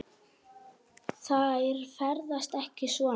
Þær ferðast ekki svona.